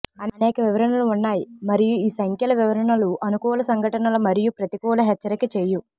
అనేక వివరణలు ఉన్నాయి మరియు ఈ సంఖ్యల వివరణలు అనుకూల సంఘటనల మరియు ప్రతికూల హెచ్చరిక చేయు